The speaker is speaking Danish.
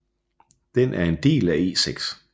Den er en del af E6